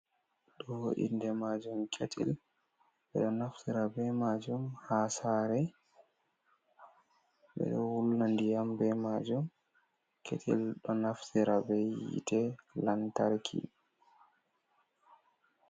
Do inde majum ketil be do naftira be majum ha sare bedo wullan ndiyam be majum ketil do naftira be yite lantarki.